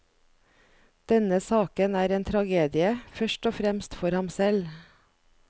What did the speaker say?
Denne saken er en tragedie, først og fremst for ham selv.